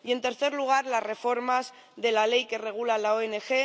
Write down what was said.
Y, en tercer lugar, las reformas de la ley que regula las ONG.